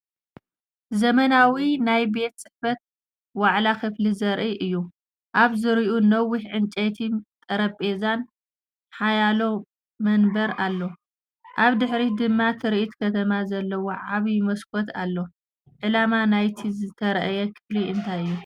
ዘመናዊ ናይ ቤት ጽሕፈት ዋዕላ ክፍሊ ዘርኢ እዩ። ኣብ ዙርያኡ ነዊሕ ናይ ዕንጨይቲ ጠረጴዛን ሓያሎ መንበርን ኣሎ። ኣብ ድሕሪት ድማ ትርኢት ከተማ ዘለዎ ዓቢ መስኮት ኣሎ። ዕላማ ናይቲ ዝተርኣየ ክፍሊ እንታይ እዩ?